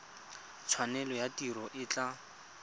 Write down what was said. tshwanelo ya tiro e tla